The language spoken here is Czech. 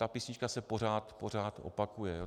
Ta písnička se pořád, pořád opakuje.